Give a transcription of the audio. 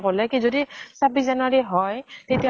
কলে কি যদি ছাব্বিছ january হয়, তেতিয়া